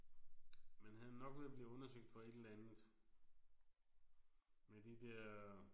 Men han er nok ude og blive undersøgt for et eller andet. Med de der